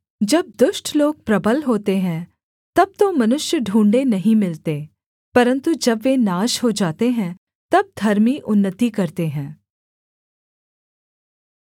जब दुष्ट लोग प्रबल होते हैं तब तो मनुष्य ढूँढ़े नहीं मिलते परन्तु जब वे नाश हो जाते हैं तब धर्मी उन्नति करते हैं